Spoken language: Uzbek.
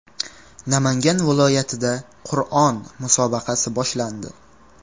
Namangan viloyatida Qur’on musobaqasi boshlandi.